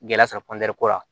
Gɛlɛya sɔrɔ ko la